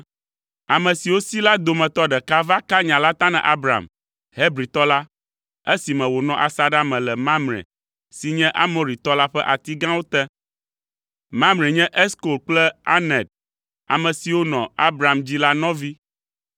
Ame siwo si la dometɔ ɖeka va ka nya la ta na Abram, Hebritɔ la, esime wònɔ asaɖa me le Mamre si nye Amoritɔ la ƒe ati gãwo te. Mamre nye Eskol kple Aner, ame siwo nɔ Abram dzi la nɔvi.